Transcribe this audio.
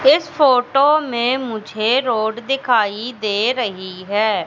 इस फोटो में मुझे रोड दिखाई दे रहीं हैं।